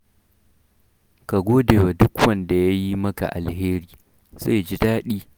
Ka gode wa duk wanda ya yi maka alheri, zai ji daɗi.